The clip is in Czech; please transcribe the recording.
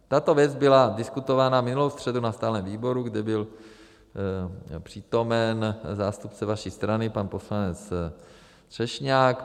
Tato věc byla diskutována minulou středu na stálém výboru, kdy byl přítomen zástupce vaší strany pan poslanec Třešňák.